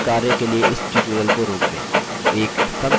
नियतकार्य के लिए इस tutorial को रोक दें